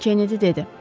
Kennedi dedi.